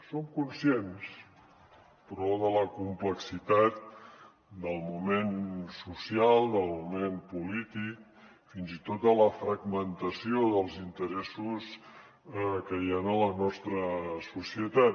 som conscients però de la complexitat del moment social del moment polític fins i tot de la fragmentació dels interessos que hi han a la nostra societat